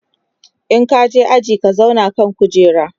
in ka je aji ka zauna a kan kujera!